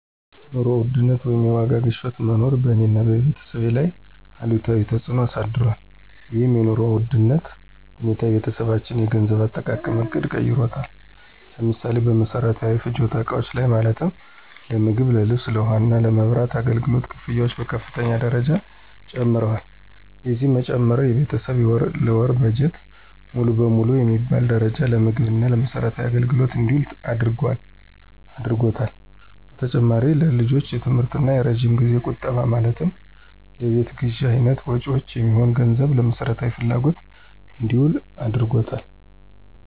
የኑሮ ውድነት ወይም የዋጋ ግሽበት መኖር በእኔ እና በቤተሰቤ ላይ አሉታዊ ተፅዕኖ አሳድሯል። ይህም የኑሮ ውድነት ሁኔታ የቤተሰባችንን የገንዘብ አጠቃቀም ዕቅድ ቀይሮታል። ለምሳሌ፦ በመሰረታዊ ፍጆታ እቃዎች ላይ ማለትም ለምግብ፣ ለልብስ፣ ለውሃ እና የመብራት አገልግሎት ክፍያዎች በከፍተኛ ደረጃ ጨምረዋል። የዚህም መጨመር የቤተሰብ የወር ለወር በጀት ሙሉ ለሙሉ በሚባል ደረጃ ለምግብ እና ለመሰረታዊ አገልግሎቶች እንዲውል አድርጓታል። በተጨማሪም ለልጆች የትምህርት እና የረጅም ጊዜያዊ ቁጠባ ማለትም ለቤት ግዥ አይነት መጭወች የሚሆን ገንዘብም ለመሰረታዊ ፍጆታ እንዲውል አድርጎታል።